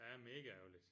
Ja mega ærgerligt